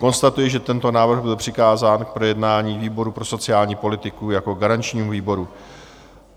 Konstatuji, že tento návrh byl přikázán k projednání výboru pro sociální politiku jako garančnímu výboru.